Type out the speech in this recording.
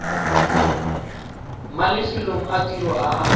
mafelong a tiro a a